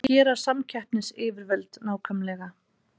Hvað gera samkeppnisyfirvöld nákvæmlega?